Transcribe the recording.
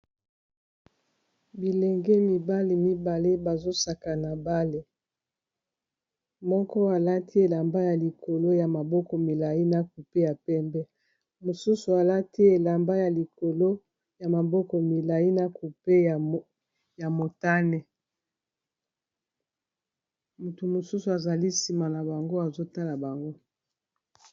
Bilenge mibali mibale bazo sakana balé, moko alati elamba ya likolo ya maboko milayi n'a kupé ya pembe mosusu alati elamba ya likolo ya maboko milayi na kupe ya motane moto mosusu azali sima na bango azotala bango.